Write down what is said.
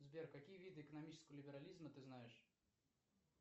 сбер какие виды экономического либерализма ты знаешь